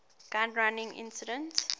gun running incident